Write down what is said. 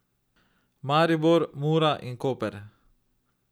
Maribor, Mura in Koper.